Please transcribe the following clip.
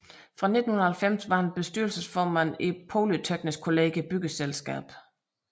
Fra 1990 var han bestyrelsesformand i Polyteknisk Kollegie Byggeselskab